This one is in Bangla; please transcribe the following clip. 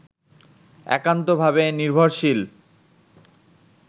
একান্তভাবে নির্ভরশীল